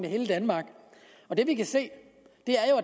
hele danmark det vi kan se